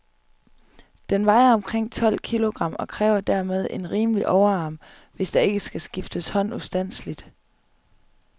Den vejer omkring tolv kilogram, og kræver dermed en rimelig overarm, hvis der ikke skal skifte hånd ustandseligt.